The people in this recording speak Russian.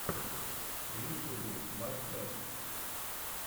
в ютюбе бай крэш